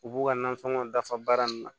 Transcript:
U b'u ka nasɔngɔ dafa baara nin na